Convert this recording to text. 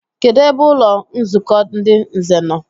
Kedụ ebe ụlọnzukọ ndị nze no?